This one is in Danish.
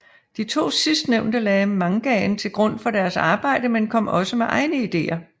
De to sidstnævnte lagde mangaen til grund for deres arbejde men kom også med egne ideer